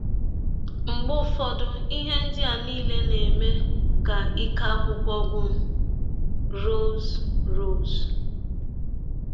Mgbe ụfọdụ, ihe ndị a niile na - eme ka ike akwụkwọ gwụ m. ”— Rọse Rọse.